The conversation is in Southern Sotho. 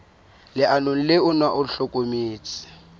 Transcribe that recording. leano le ona o hlokometse